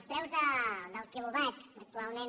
els preus del quilowatt actualment